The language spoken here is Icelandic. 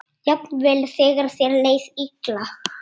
Jafnvel þegar þér leið illa.